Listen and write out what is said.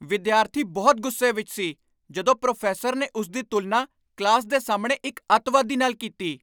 ਵਿਦਿਆਰਥੀ ਬਹੁਤ ਗੁੱਸੇ ਵਿੱਚ ਸੀ ਜਦੋਂ ਪ੍ਰੋਫੈਸਰ ਨੇ ਉਸ ਦੀ ਤੁਲਨਾ ਕਲਾਸ ਦੇ ਸਾਹਮਣੇ ਇੱਕ ਅੱਤਵਾਦੀ ਨਾਲ ਕੀਤੀ।